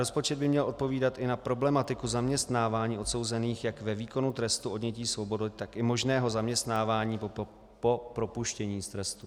Rozpočet by měl odpovídat i na problematiku zaměstnávání odsouzených jak ve výkonu trestu odnětí svobody, tak i možného zaměstnávání po propuštění z trestu.